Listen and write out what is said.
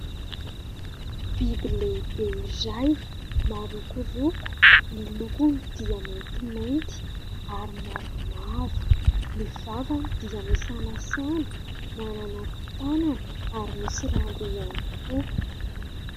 Biby lehibe izay marokoroko, ny lokony dia maintimainty ary mavomavo, ny vavany dia misanasana, manana tanana ary misy rambo ihany koa.